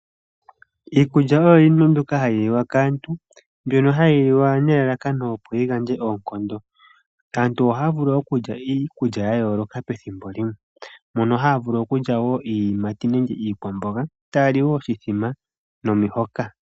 Iikulya oyo iinima mbyoka hayi liwa kaantu, mbyono hayi liwa nelalakano opo yi gandje oonkondo. Aantu ohaya vulu okulya iikulya yayooloka pethimbo limwe, mpono haya vulu okulya iiyimati niikwamboga taya li woo oshithima nomihoka.